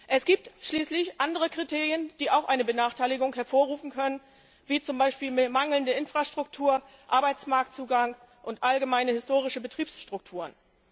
Es gibt schließlich andere Kriterien, die auch eine Benachteiligung hervorrufen können, wie zum Beispiel mangelnde Infrastruktur, Arbeitsmarktzugang und allgemeine historische Betriebsstrukturen.